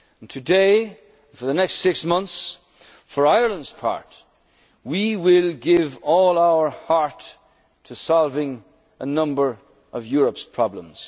our European family. Today and for the next six months, for Ireland's part we will give all our heart to solving a number